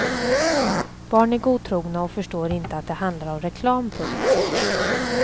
Barn är godtrogna och förstår inte att det handlar om reklam. punkt